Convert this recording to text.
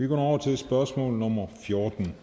over til spørgsmål nummer fjorten